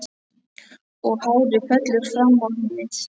Og hárið fellur fram á ennið.